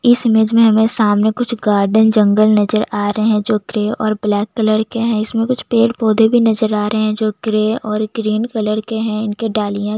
इस इमेज में हमें सामने कुछ गार्डन जंगल नजर आ रहे है जो कलर और ब्लैक कलर के है इसमें कुछ पेड़ - पौधे भी नज़र आ रहे है जो ग्रे और ग्रीन कलर के है इनकी डालियां --